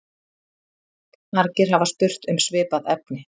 Margir hafa spurt um svipað efni.